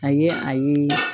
A ye a ye